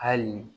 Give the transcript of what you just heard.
Hali